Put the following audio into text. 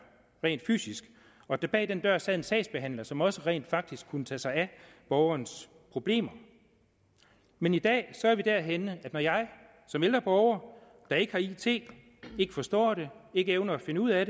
rent fysisk og der bag den dør sad en sagsbehandler som også rent faktisk kunne tage sig af borgerens problemer men i dag er vi derhenne at når jeg som ældre borger der ikke har it ikke forstår det ikke evner at finde ud af